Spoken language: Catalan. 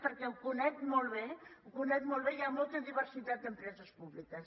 perquè ho conec molt bé ho conec molt bé i hi ha molta diversitat d’empreses públiques